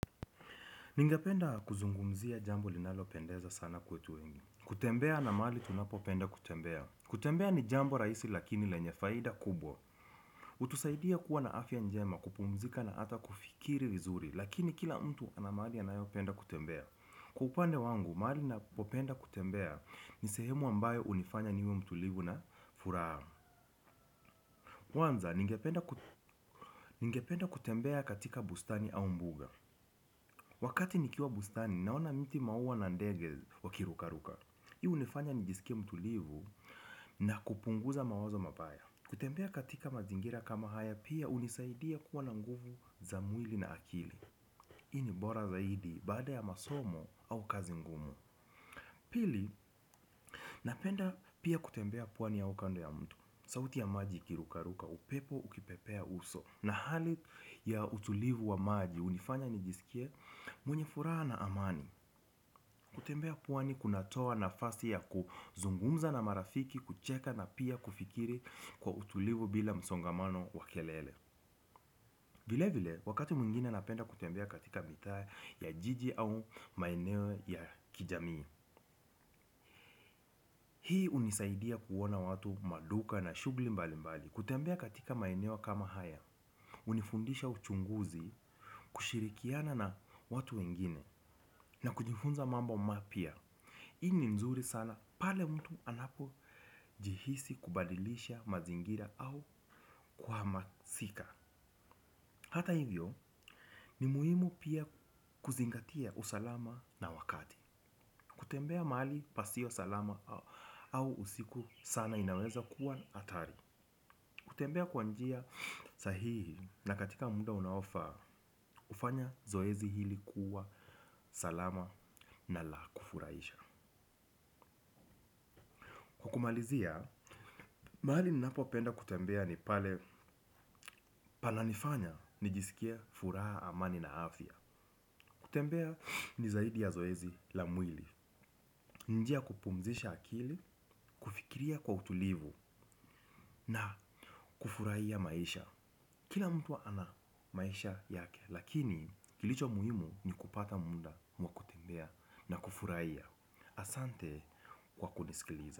Ningependa kuzungumzia jambo linalo pendeza sana kwetu wengi. Kutembea na mahali tunapo penda kutembea. Kutembea ni jambo rahisi lakini lenye faida kubwa. Hutusaidia kuwa na afya njema kupumzika na hata kufikiri vizuri lakini kila mtu ana mahali anayo penda kutembea. Kwa upande wangu, mahali na popenda kutembea ni sehemu ambayo hunifanya niwe mtulivu na furaha. Kwanza, ningependa kutembea katika bustani au mbuga. Wakati nikiwa bustani naona miti maua na ndege wakirukaruka. Hii hunifanya nijisikie mtulivu na kupunguza mawazo mabaya. Kutembea katika mazingira kama haya pia hunisaidia kuwa na nguvu za mwili na akili. Hii ni bora zaidi baada ya masomo au kazi ngumu. Pili napenda pia kutembea pwani ya ukando ya mto. Sauti ya maji ikirukaruka upepo ukipepea uso na hali ya utulivu wa maji hunifanya nijisikie mwenye furaha na amani. Kutembea pwani kuna toa na fasi ya kuzungumza na marafiki, kucheka na pia kufikiri kwa utulivu bila msongamano wakelele. Vile vile, wakati mwingine napenda kutembea katika mitaa ya jiji au maeneo ya kijamii. Hii hunisaidia kuona watu maduka na shughuli mbali mbali. Kutembea katika maeneo kama haya. Hunifundisha uchunguzi, kushirikiana na watu wengine na kujifunza mambo mapya. Hii ni nzuri sana pale mtu anapojihisi kubadilisha mazingira au kuhamasika. Hata hivyo ni muhimu pia kuzingatia usalama na wakati. Kutembea mali pasio salama au usiku sana inaweza kuwa hatari. Kutembea kwa njia sahihi na katika muda unaofaa kufanya zoezi hili kuwa salama na la kufurahisha. Kumalizia, mahali ninapo penda kutembea ni pale pananifanya nijisikie furaha amani na afya. Kutembea ni zaidi ya zoezi la mwili. Njia kupumzisha akili, kufikiria kwa utulivu na kufurahia maisha. Kila mtu ana maisha yake, lakini kilicho muhimu ni kupata muda wa kutembea na kufurahia. Asante kwa kunisikiliza.